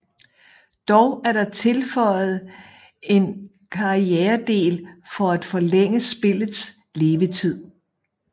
Dog er der tilføjet en karrieredel for at forlænge spillets levetid